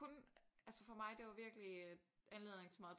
Kun altså for mig det var virkelig anledning til meget